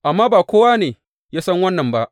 Amma ba kowa ne ya san wannan ba.